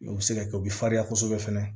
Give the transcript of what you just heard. O bɛ se ka kɛ o bɛ farinya kosɛbɛ fana